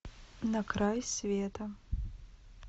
на край света